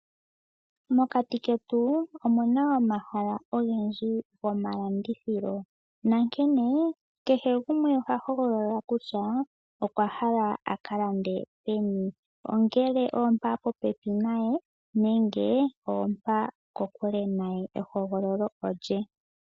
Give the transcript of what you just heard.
Mokati ketu omuna omahala ogendji gomalandithilo ,nankene kehe gumwe oha hogolola kutya okwa hala aka lande peni, ongele ompa po pepi naye nenge ompa ko kule naye. Ehogololo olye.